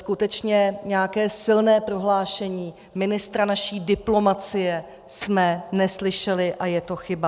Skutečně nějaké silné prohlášení ministra naší diplomacie jsme neslyšeli, a je to chyba.